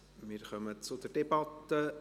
Wir kommen zur Debatte.